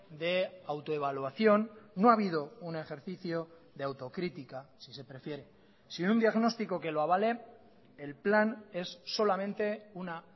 de autoevaluación no ha habido un ejercicio de autocrítica si se prefiere sin un diagnóstico que lo avale el plan es solamente una